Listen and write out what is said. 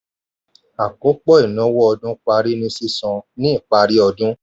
àkópọ̀ ìnáwó ọdún parí ní sísan ní ipari ọdún.